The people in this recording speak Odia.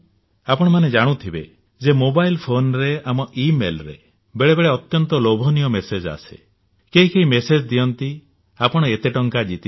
ଆପଣମାନେ ଜାଣୁଥିବେ ଯେ ମୋବାଇଲ ଫୋନରେ ଆମ ଇମେଲରେ ବେଳେ ବେଳେ ଅତ୍ୟନ୍ତ ଲୋଭନୀୟ ମେସେଜ ଆସେ କେହି କେହି ମେସେଜ୍ ଦିଅନ୍ତି ଆପଣ ଏତେ ଟଙ୍କା ଜିତିଛନ୍ତି